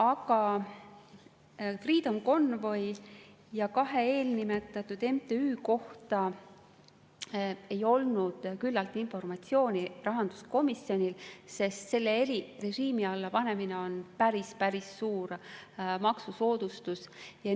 Aga Freedom Convoy ja kahe eelnimetatud MTÜ kohta ei olnud komisjonil küllalt informatsiooni ja selle erirežiimi alla panemine on päris suur maksusoodustus.